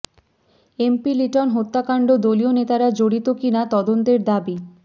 MP Liton হত্যাকাণ্ড দলীয় নেতারা জড়িত কিনা তদন্তের দাবি